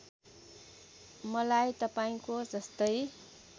मलाई तपाईँको जस्तै